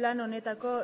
plan honetako